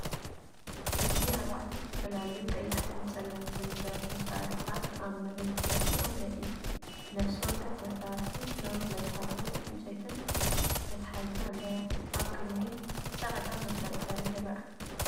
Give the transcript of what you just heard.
እዚ ኣርባዕተ ዝተፈላለዩ ቀያሕትን ጸሊምን ብረት መሳርሒታት ኣብ መሬት ተደፊኦም የርኢ። ነፍሲ ወከፍ መሳርሒ ነዊሕ መትሓዚን ዕንጨይቲ መትሓዚን ኣለዎ። ኣብ ቅድሚት ጻዕዳ መንጠልጠሊ ይርአ።